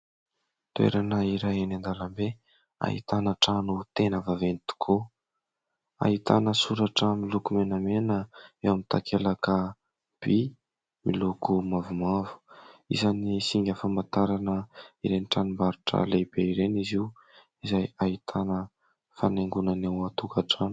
Toerana iray eny andalambe ahitana trano tena vaventy tokoa. Ahitana soratra miloko menamena eo amin'ny takelaka vy miloko mavomavo. Isan'ny singa famantarana ireny tranombarotra lehibe ireny izy io izay ahitana fanaingona ny ao antokatrano.